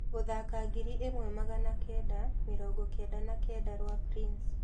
Gũthaka ngiri ĩmwe magana kenda , mĩrongo kenda na kenda rwa prince